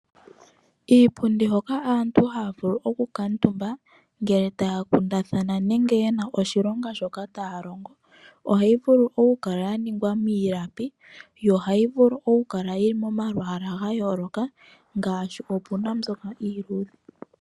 Iipundi hoka aantu haya vulu oku kuutumba, ngele taya kundathana nenge yena oshilonga shoka taya longo, ohayi vulu okukala ya ningwa miilapi, yo ohayi vulu okukala yili mo malwaala ga yooloka ngaashi, opuna mbyoka iiluudhe.